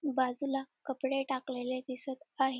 बाजूला कपडे टाकलेले दिसत आहेत.